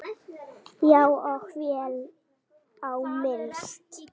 Já, og vel á minnst.